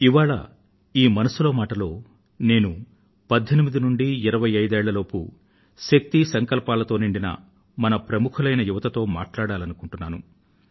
ఇవాళ ఈ మనసులో మాటలో నేను 18 ఏళ్ల నుండీ 25 ఏళ్ళ లోపూ శక్తి సంకల్పాలతో నిండిన మన ప్రముఖులైన యువతతో మాట్లాడాలనుకొంటున్నాను